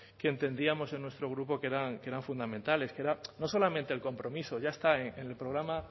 que entendíamos en nuestro grupo que eran fundamentales no solamente el compromiso ya está en el programa